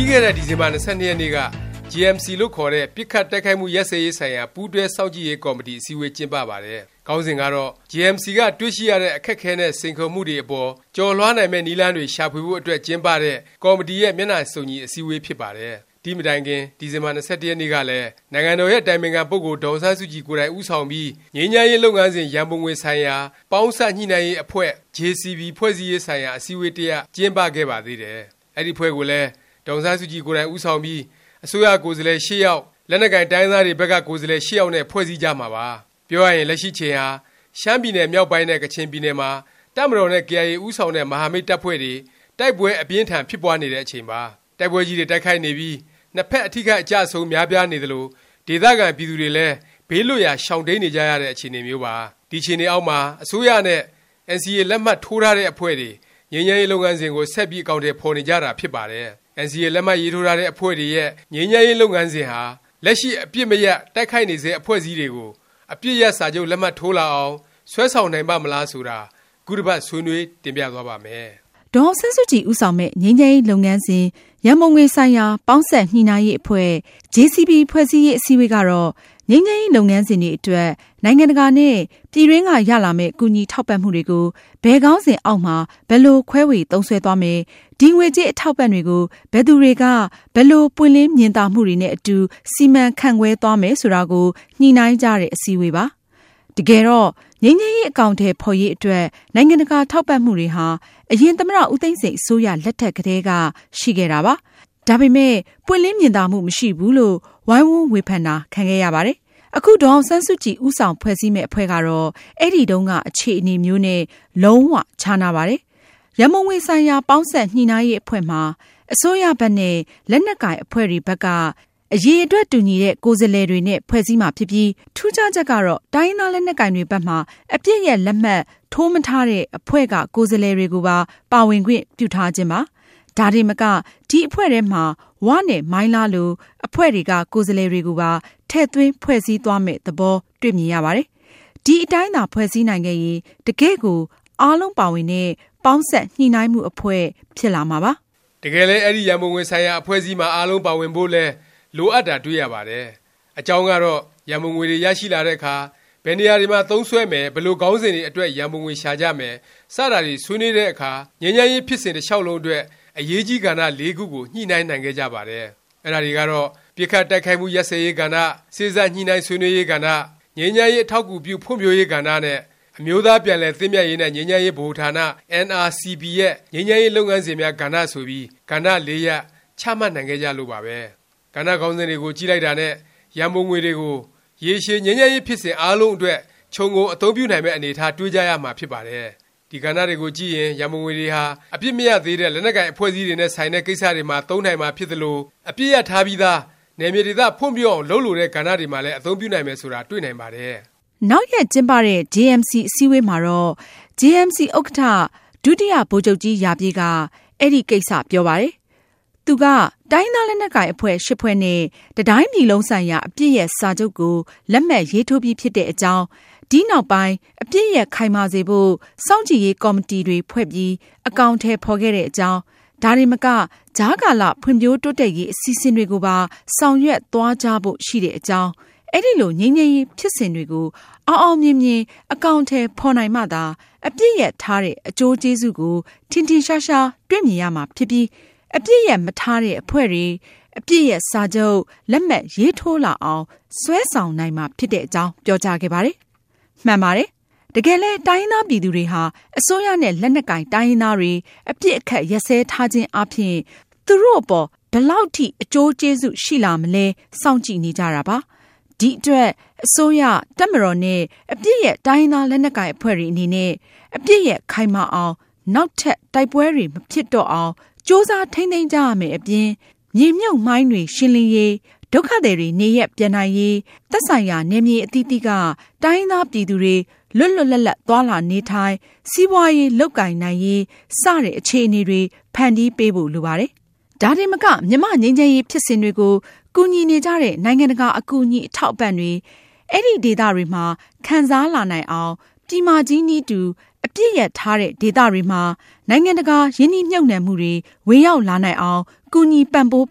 ီးခဲ့ဲတဲ့ ဒီဇင်ဘာ ၂၂ ရက်နေ့က JMC လို့ခေါ်တဲ့ ပစ်ခတ်တိုက်ခိုက်မှု ရပ်စဲရေးဆိုင်ရာ ပူးတွဲစောင့်ကြည့်ရေးကော်မတီ အစည်းအဝေး ကျင်းပပါတယ်။ ခေါင်းစဉ်ကတော့ JMC က တွေ့ရှိရတဲ့ အခက်အခဲနဲ့ စိန်ခေါ်မှုတွေ အပေါ် ကျော်လွှားနိုင်မယ့် နည်းလမ်းတွေ ရှာဖွေဖို့အတွက် ကျင်းပတဲ့ ကော်မတီရဲ့ မျက်နှာစုံညီ အစည်းအဝေး ဖြစ်ပါတယ်။ ဒီ့မတိုင်ခင် ဒီဇင်ဘာ ၂၁ ရက်နေ့ကလည်း နိုင်ငံတော်ရဲ့ အတိုင်ပင်ခံ ပုဂ္ဂိုလ် ဒေါ်အောင်ဆန်းစုကြည် ကိုယ်တိုင် ဦးဆောင်ပြီး ငြိမ်းချမ်းရေးလုပ်ငန်းစဉ် ရံပုံငွေဆိုင်ရာ ပေါင်းစပ် ညှိနှိုင်းရေး အဖွဲ့JCB ဖွဲ့စည်းရေးဆိုင်ရာ အစည်းအဝေး တစ်ရပ် ကျင်းပခဲ့ပါသေးတယ်။ အဲဒီအဖွဲ့ကိုလည်း ဒေါ်အောင်ဆန်းစုကြည် ကိုယ်တိုင်ဦးဆောင်ပြီး အစိုးရကိုယ်စားလှယ် (၈) ယောက်၊ လက်နက်ကိုင် တိုင်းရင်းသားတွေဘက်က ကိုယ်စားလှယ် (၈) ယောက်နဲ့ ဖွဲ့စည်းကြမှာပါ။ ပြောရရင် လက်ရှိ အချိန်ဟာ ရှမ်းပြည်နယ်မြောက်ပိုင်းနဲ့ ကချင်ပြည်နယ်မှာ တပ်မတော်နဲ့ ကေအိုင်အေ ဦးဆောင်တဲ့ မဟာမိတ် တပ်ဖွဲ့တွေ တိုက်ပွဲ အပြင်းအထန် ဖြစ်ပွားနေတဲ့ အချိန်ပါ။ တိုက်ပွဲကြီးတွေ တိုက်ခိုက်နေပြီး နှစ်ဖက် အထိအခိုက် အကျအဆုံး များပြားနေသလို၊ ဒေသခံ ပြည်သူတွေလည်း ဘေးလွတ်ရာ ရှောင်တိမ်းနေကြရတဲ့ အခြေအနေမျိုးပါ။ ဒီအခြေအနေအောက်မှာ အစိုးရနဲ့ NCA လက်မှတ်ထိုးထားတဲ့ အဖွဲ့တွေ ငြိမ်းချမ်းရေး လုပ်ငန်းစဉ်ကို ဆက်ပြီး အကောင်အထည် ဖော်နေကြတာ ဖြစ်ပါတယ်။ NCA လက်မှတ်ရေးထိုးထားတဲ့ အဖွဲ့တွေရဲ့ ငြိမ်းချမ်းရေး လုပ်ငန်းစဉ်ဟာ လက်ရှိ အပစ်မရပ်၊ တိုက်ခိုက်နေဆဲ အဖွဲ့အစည်းတွေကို အပစ်ရပ်စာချုပ် လက်မှတ်ထိုးလာအောင် ဆွဲဆောင်နိုင်ပါ့မလား ဆိုတာ ခုတစ်ပါတ် ဆွေးနွေး တင်ပြသွားပါ့မယ်။ ဒေါ်အောင်ဆန်းစုကြည် ဦးဆောင်မယ့် ငြိမ်းချမ်းရေးလုပ်ငန်းစဉ် ရံပုံငွေဆိုင်ရာ ပေါင်းစပ် ညှိနှိုင်းရေး အဖွဲ့JCB ဖွဲ့စည်းရေး အစည်းအဝေးကတော့ ငြိမ်းချမ်းရေး လုပ်ငန်းစဉ်တွေအတွက် နိုင်ငံတကာနဲ့ ပြည်တွင်းက ရလာမယ့် ကူညီထောက်ပံ့မှုတွေကို ဘယ်ခေါင်းစဉ်အောက်မှာ ဘယ်လို ခွဲဝေသုံးစွဲသွားမယ်၊ ဒီ ငွေကြေးအထောက်အပံ့တွေကို ဘယ်သူတွေက ဘယ်လို ပွင့်လင်းမြင်သာမှုတွေနဲ့အတူ စီမံခန့်ခွဲသွားမယ် ဆိုတာကို ညှိနှိုင်းကြတဲ့ အစည်းအဝေးပါ။ တကယ်တော့ ငြိမ်းချမ်းရေး အကောင်အထည် ဖော်ရေးအတွက် နိုင်ငံတကာ ထောက်ပံ့မှုတွေဟာ အရင် သမ္မတ ဦးသိန်းစိန် အစိုးရလက်ထက်ကတည်းက ရှိခဲ့တာပါ။ ဒါပေမယ့် ပွင့်လင်းမြင်သာမှု မရှိဘူးလို့ ဝိုင်းဝန်းဝေဖန်တာ ခံခဲ့ရပါတယ်။ အခု ဒေါ်အောင်ဆန်းစုကြည် ဦးဆောင်ဖွဲ့စည်းမယ့် အဖွဲ့ကတော့ အဲဒီတုန်းက အခြေအနေမျိုးနဲ့ လုံး၀ ခြားနားပါတယ်။ ရံပုံငွေဆိုင်ရာ ပေါင်းစပ်ညှိနှိုင်းရေး အဖွဲ့မှာ အစိုးရဘက်နဲ့ လက်နက်ကိုင် အဖွဲ့တွေဘက်က အရည်အတွက် တူညီတဲ့ ကိုယ်စားလှယ်တွေနဲ့ ဖွဲ့စည်းမှာဖြစ်ပြီး ထူးခြားချက်ကတော့ တိုင်းရင်းသား လက်နက်ကိုင်တွေဘက်မှာ အပစ်ရပ် လက်မှတ်ထိုးမထားတဲ့ အဖွဲ့က ကိုယ်စားလှယ်တွေကိုပါ ပါဝင်ခွင့်ပြုထားခြင်းပါ။ ဒါတင်မက အဲဒီအဖွဲ့ထဲမှာ ဝနဲ့ မိုင်းလားလို အဖွဲ့တွေက ကိုယ်စားလှယ်တွေကိုပါ ထည့်သွင်းဖွဲ့စည်းသွားမယ့် သဘော တွေ့မြင်ရပါတယ်။ အဲဒီအတိုင်းသာ ဖွဲ့စည်းနိုင်ခဲ့ရင် တကယ့်ကို အားလုံးပါဝင်တဲ့ ပေါင်းစပ်ညှိနှိုင်းမှု အဖွဲ့ ဖြစ်လာမှာပါ။ တကယ်လည်း အဲဒီရံပုံငွေ ဆိုင်ရာ အဖွဲ့မှာ အားလုံးပါဝင်ဖို့လည်း လိုအပ်တာ တွေ့ရပါတယ်။ အကြောင်းကတော့ ရံပုံငွေတွေရလာတဲ့ အခါ ဘယ်နေရာတွေမှာ သုံးစွဲမယ်၊ ဘယ်လို ခေါင်းစဉ်တွေအတွက် ရံပုံငွေရှာကြမယ် စတာတွေ ဆွေးနွေးတဲ့အခါ ငြိမ်းချမ်းရေး ဖြစ်စဉ် တစ်လျောက်လုံးအတွက် အရေးကြီးကဏ္ဍ ၄ ခုကို ညှိနှိုင်းနိုင်ခဲ့ကြပါတယ်။ အဲဒါတွေကတော့ ပစ်ခတ်တိုက်ခိုက်မှု ရပ်စဲရေးကဏ္ဍ၊ စေ့စပ်ညှိနှိုင်း ဆွေးနွေးရေးကဏ္ဍ၊ ငြိမ်းချမ်းရေး အထောက်အကူပြု ဖွံ့ဖြိုးရေးကဏ္ဍနဲ့ အမျိုးသားပြန်လည် သင့်မြတ်ရေးနဲ့ ငြိမ်းချမ်းရေး ဗဟိုဌာန NRCP ရဲ့ ငြိမ်းချမ်းရေး လုပ်ငန်းစဉ်များ ကဏ္ဍ ဆိုပြီး ကဏ္ဍ၄ရပ် ချမှတ်နိုင်ခဲ့ကြလို့ပါပဲ။ ကဏ္ဍ ခေါင်းစဉ်တွေကို ကြည့်လိုက်တာနဲ့ ရံပုံငွေတွေကို ရေရှည် ငြိမ်းချမ်းရေး ဖြစ်စဉ် အားလုံးအတွက် ခြုံငုံအသုံးပြုနိုင်မယ့် အနေအထား တွေ့ကြရမှာ ဖြစ်ပါတယ်။ ဒီကဏ္ဍတွေကိုကြည့်ရင် ရံပုံငွေတွေဟာ အပစ်မရပ်သေးတဲ့ လက်နက်ကိုင် အဖွဲ့အစည်းတွေနဲ့ ဆိုင်တဲ့ ကိစ္စတွေမှာ သုံးနိုင်မှာ ဖြစ်သလို၊ အပစ်ရပ်ထားပြီးသား နယ်မြေဒေသ ဖွံ့ဖြိုးအောင် လုပ်လိုတဲ့ ကဏ္ဍတွေမှာလည်း အသုံးပြုနိုင်မယ်ဆိုတာ တွေ့နိုင်ပါတယ်။ နောက်ရက် ကျင်းပတဲ့ JMC အစည်းအဝေးမှာတော့ JMC ဥက္ကဌ ဒုတိယ ဗိုလ်ချုပ်ကြီးရာပြည့်က အဲဒီ ကိစ္စ ပြောပါတယ်။ သူက တိုင်းရင်းသားလက်နက်ကိုင် အဖွဲ့ (၈) ဖွဲ့နဲ့ တစ်တိုင်းပြည်လုံးဆိုင်ရာ အပစ်ရပ်စာချုပ်ကို လက်မှတ်ရေးထိုးပြီး ဖြစ်တဲ့အကြောင်း၊ ဒီနောက်ပိုင်း အပစ်ရပ် ခိုင်မာစေဖို့ စောင့်ကြည့်ရေး ကော်မတီတွေဖွဲ့ပြီး အကောင်အထည် ဖော်ခဲ့တဲ့အကြောင်း၊ ဒါတင်မက ကြားကာလ ဖွံ့ဖြိုးတိုးတက်ရေး အစီအစဉ်တွေကိုပါ ဆောင်ရွက်သွားကြဖို့ ရှိတဲ့အကြောင်း၊ အဲဒီလို ငြိမ်းချမ်းရေး ဖြစ်စဉ်တွေကို အောင်အောင်မြင်မြင် အကောင်အထည် ဖော်နိုင်မှသာ အပစ်ရပ်ထားတဲ့ အကျိုးကျေးဇူးကို ထင်ထင်ရှားရှား တွေ့မြင်ရမှာဖြစ်ပြီး အပစ်ရပ်မထားတဲ့ အဖွဲ့တွေ အပစ်ရပ်စာချုပ် လက်မှတ်ရေးထိုးလာအောင် ဆွဲဆောင်နိုင်မှာ ဖြစ်တဲ့အကြောင်း ပြောကြားခဲ့ပါတယ်။ မှန်ပါတယ်။ တကယ်လည်း တိုင်းရင်းသား ပြည်သူတွေဟာ အစိုးရနဲ့ လက်နက်ကိုင် တိုင်းရင်းသားတွေ အပစ်အခတ် ရပ်စဲထားခြင်းအားဖြင့် သူတို့အပေါ် ဘယ်လောက် အကျိုးကျေးဇူး ရှိလာမလဲ စောင့်ကြည့်နေကြတာပါ။ ဒီအတွက် အစိုးရ၊ တပ်မတော်နဲ့ အပစ်ရပ် တိုင်းရင်းသား လက်နက်ကိုင် အဖွဲ့တွေ အနေနဲ့ အပစ်ရပ် ခိုင်မာအောင်၊ နောက်ထပ် တိုက်ပွဲတွေ မဖြစ်တော့အောင် ကြိုးစား ထိမ်းသိမ်းကြရမယ့်အပြင် မြေမြှုပ်မိုင်းတွေ ရှင်းလင်းရေး၊ ဒုက္ခသည်တွေ နေရပ် ပြန်နိုင်ရေး၊ သက်ဆိုင်ရာ နယ်မြေ အသီးသီးက တိုင်းရင်းသားပြည်သူတွေ လွတ်လွတ်လပ်လပ် သွားလာ နေထိုင် စီးပွားရေး လုပ်ကိုင်နိုင်ရေး စတာတွေ လုပ်ကိုင်နိုင်အောင် အခြေအနေ ဖန်တီးပေးဖို့ လိုပါတယ်။ ဒါတင်မက မြန်မာ့ ငြိမ်းချမ်းရေးဖြစ်စဉ်တွေကို ကူညီနေကြတဲ့ နိုင်ငံတကာ အကူအညီ အထောက်အပံ့တွေ အဲဒီဒေသတွေက ခံစားလာနိုင်အောင်၊ ပြည်မကြီးနည်းတူ အပစ်ရပ်ထားတဲ့ ဒေသတွေမှာ နိုင်ငံတကာ ရင်းနှီးမြှုပ်နှံမှုတွေ ဝင်ရောက်လာနိုင်အောင် ကူညီပံ့ပိုး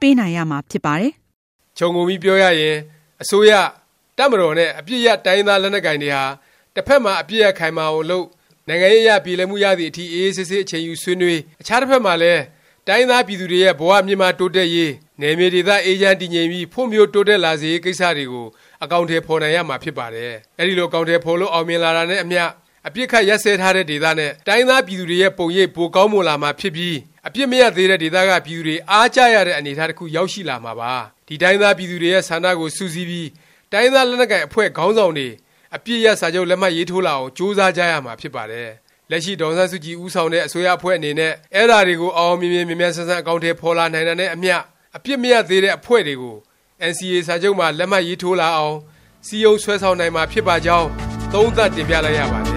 ပေးနိုင်ရမှာ ဖြစ်ပါတယ်။ ခြုံငုံပြီးပြောရရင် အစိုးရ၊ တပ်မတော်နဲ့ အပစ်ရပ် တိုင်းရင်းသား လက်နက်ကိုင်တွေဟာ တစ်ဖက်မှာ အပစ်ရပ် ခိုင်မာအောင်လုပ်၊ နိုင်ငံရေးအရ ပြေလည်မှုရသည် အထိ အေးအေးဆေးဆေး အချိန်ယူ ဆွေးနွေး၊ အခြားတစ်ဖက်မှာလည်း တိုင်းရင်းသားပြည်သူတွေရဲ့ ဘ၀ မြင့်မား တိုးတက်ရေး၊ နယ်မြေဒေသ အေးချမ်းတည်ငြိမ်ပြီး ဖွံ့ဖြိုးတိုးတက်လာစေရေး ကိစ္စတွေကို အကောင်အထည် ဖော်နိုင်ရမှာဖြစ်ပါတယ်။ အဲဒီလို အကောင်အထည် ဖော်လို့ အောင်မြင်လာတာနဲ့အမျှ အပစ်အခတ် ရပ်စဲထားတဲ့ ဒေသနဲ့ တိုင်းရင်းသားပြည်သူတွေရဲ့ ပုံရိပ် ပိုပြီးကောင်းမွန်လာမှာဖြစ်ပြီး အပစ်မရပ်သေးတဲ့ ဒေသက ပြည်သူတွေ အားကျရတဲ့ အနေအထား တစ်ခု ရောက်ရှိလာမှာပါ။ ဒီ တိုင်းရင်းသား ပြည်သူတွေရဲ့ ဆန္ဒကို စုစည်းပြီး တိုင်းရင်းသား လက်နက်ကိုင် အဖွဲ့ခေါင်းဆောင်တွေ အပစ်ရပ် စာချုပ် လက်မှတ်ရေးထိုးလာအောင် ကြိုးစားကြရမှာ ဖြစ်ပါတယ်။ လက်ရှိ ဒေါ်အောင်ဆန်းစုကြည် ဦးဆောင်တဲ့ အစိုးရအဖွဲ့အနေနဲ့ အဲဒါတွေကို အောင်အောင်မြင်မြင် မြန်မြန်ဆန်ဆန် အကောင်အထည် ဖော်လာနိုင်တာနဲ့အမျှ အပစ်မရပ်သေးတဲ့ အဖွဲ့တွေကို NCA စာချုပ်မှာ လက်မှတ်ထိုးလာအောင် စည်းရုံးဆွဲဆောင်နိုင်မှာ ဖြစ်ပါကြောင်း သုံးသပ် တင်ပြလိုက်ရပါတယ်